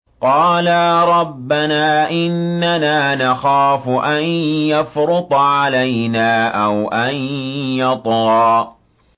قَالَا رَبَّنَا إِنَّنَا نَخَافُ أَن يَفْرُطَ عَلَيْنَا أَوْ أَن يَطْغَىٰ